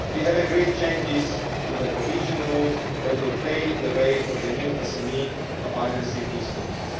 We have agreed changes to the cohesion rules that will pave the way for the new SME financial instruments.